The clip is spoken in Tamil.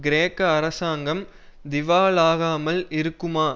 கிரேக்க அரசாங்கம் திவாலாகாமல் இருக்குமா